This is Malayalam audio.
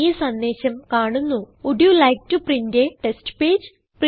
ഈ സന്ദേശം കാണുന്നു would you like to print a test page